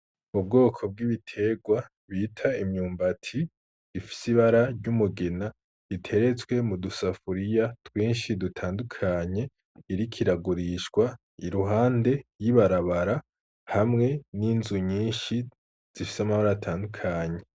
Ubwoko bw’imyimburwa bita imyumbati ifise ibara ry’umugina , iteretswe mudu safuriya rwinshi dutandukanye iriko iragurishwa iruhande y’ibarabara hamwe n’inzu nyinshi zifise amabara atandukanye .